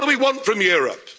What do we want from Europe?